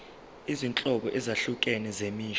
izinhlobo ezahlukene zemisho